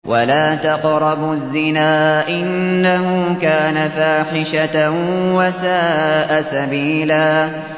وَلَا تَقْرَبُوا الزِّنَا ۖ إِنَّهُ كَانَ فَاحِشَةً وَسَاءَ سَبِيلًا